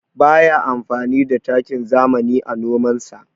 Ba ya amfani da takin zamani a nomansa.